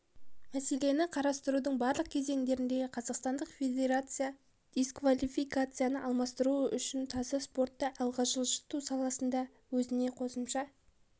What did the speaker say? мәселені қарастырудың барлық кезеңдерінде қазақстандық федерация дисквалификацияны алмастыру үшін таза спортты алға жылжыту саласында өзіне қосымша